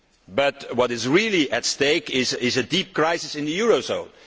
but what is really at stake is a deep crisis in the eurozone.